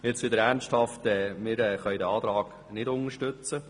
Jetzt wieder ernsthaft: Wir können diesen Antrag nicht unterstützen.